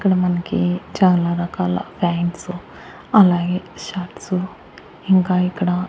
ఇక్కడ మనకి చాలా రకాల ఫ్యాయింట్సు అలాగే షర్ట్స్ ఇంకా ఇక్కడ--